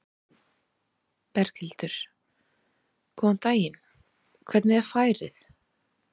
Berghildur: Góðan daginn, hvernig er færið?